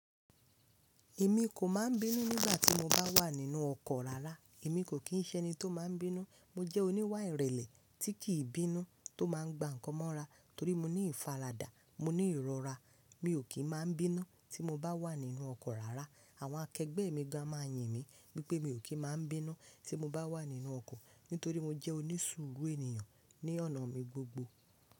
Èmi kò máa ń bínú nígbà tí mo bá wà nínú ọkọ̀ rárá, èmi kò kí ń ṣẹni tó máa ń bínú. Mo jẹ́ oníwà ìrẹ̀lẹ̀ tí kì í bínú tó máa ń gba nǹkan mọ́ra torí mo ní ìfaradà, mo ní ìrora. Mi ò kí ń máa ń bínú tí mo bá wà nínú ọkọ̀ rárá. Àwọn akẹgbẹ́ mi gan máa yìn mí wipé mi ò kí ń máa ń bínú tí mo bá wà nínú ọkọ̀ nítorí mo jẹ́ onísuru ènìyàn ní ọ̀nà mi gbogbo.